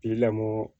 I lamɔ